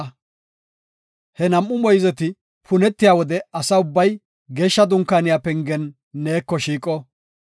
Ha nam7u moyzeti punetiya wode asa ubbay Geeshsha Dunkaaniya pengen neeko shiiqo.